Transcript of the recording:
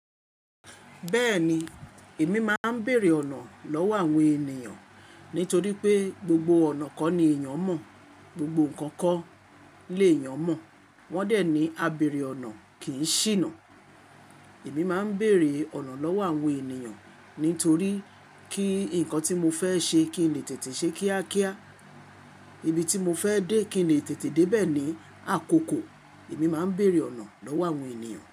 Bẹ́ẹ̀ni èmi máa ń bèèrè ọ̀nà lọ́wọ́ àwọn ènìyàn nítorí pé gbogbo ọ̀nà kọ́ ni èèyàn mọ̀, gbogbo nǹkan kọ́ léèyàn mọ̀, wọ́n dẹ̀ ní "a bèèrè ọ̀nà kì í ṣìnà". Èmi máa ń bèèrè ọ̀nà lọ́wọ́ àwọn ènìyàn nítorí kí nǹkan tí mo fẹ́ ṣe kí n lè tètè ṣe kíákíá, ibi tí mo fẹ́ dé kí n lè tètè dé bẹ̀ ní àkókò, èmi máa ń bèèrè ọ̀nà lọ́wọ́ àwọn ènìyàn.